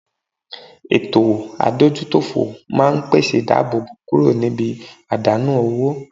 Eto adojutofo maa n pese idabobo kuro nibi adanu owo